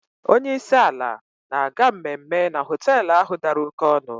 Onye isi ala na-aga mmemme na họtel ahụ dara oké ọnụ.